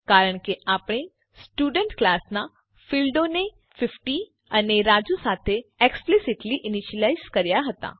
કારણ કે આપણે સ્ટુડન્ટ ક્લાસ નાં ફીલ્ડોને ૫૦ અને રાજુ સાથે એક્સ્પીલીસીટલી ઈનીશ્યલાઈઝ કર્યા હતા